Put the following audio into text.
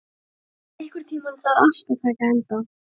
Góði, einhvern tímann þarf allt að taka enda.